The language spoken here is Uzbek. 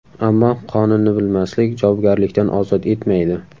Ammo qonunni bilmaslik javobgarlikdan ozod etmaydi.